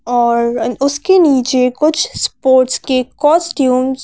और उसके नीचे कुछ स्पोर्ट्स के कॉस्ट्यूम्स --